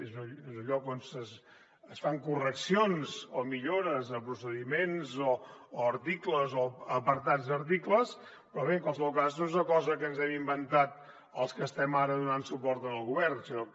és el lloc on es fan correccions o millores a procediments o articles o apartats d’articles però bé en qualsevol cas no és una cosa que ens hem inventat els que estem ara donant suport al govern sinó que